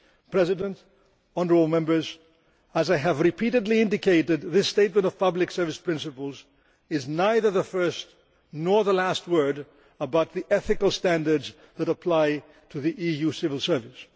President, honourable Members, as I have repeatedly indicated, this statement of pubic service principles is neither the first nor the last word about the ethical standards that apply to the EU civil service.